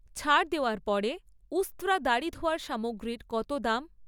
ছাড় দেওয়ার পরে উস্ত্রা দাড়ি ধোয়ার সামগ্রীর কত দাম?